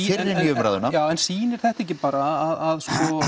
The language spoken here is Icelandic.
inn í umræðuna já en sýnir þetta ekki bara að